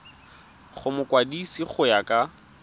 go mokwadise go ya ka